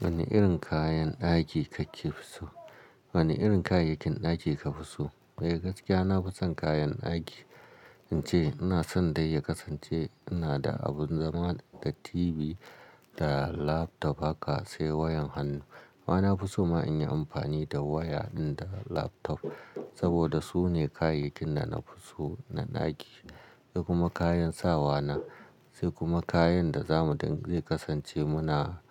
Wane irin kayan daki kakefi so? Wane irin kayayyakin aiki ka fi so? Eh gaskiya, na fi son kayan daki, in ce ina son dai ya kasance ina da abin zama da TV da laptop haka, sai wayan hannu. Amma na fi so ma in yi amfani da waya ɗin da laptop saboda sune kayayyakin da na fi so na daki, sai kuma kayan sawa na, sai kuma kayan da za mu zai kasance muna